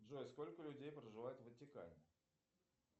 джой сколько людей проживает в ватикане